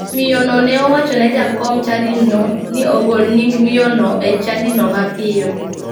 Jaod miyono ne owacho ne jakom chadino ni ogol nying miyono e chadino mapiyo.